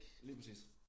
Lige præcis